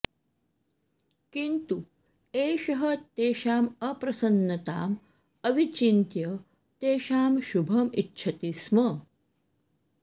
किन्तु एषः तेषाम् अप्रसन्नताम् अविचिन्त्य तेषां शुभम् इच्छति स्म